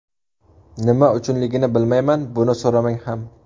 Nima uchunligini bilmayman, buni so‘ramang ham.